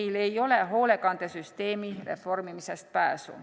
Meil ei ole hoolekandesüsteemi reformimisest pääsu.